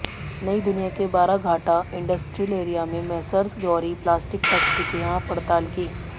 नईदुनिया ने Baraghata industrial area में messrs Gauri plastic factory के यहां पडताल की